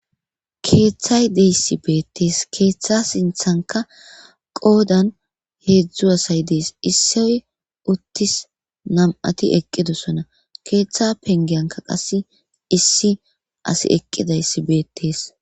keeththay deyssi beettees keeththa sinthanka qoodan heedzdzu asay dees issioy uttis nam7ati eqqidosona keeththa pengiyanka qase issi asi eqqidayssi beettees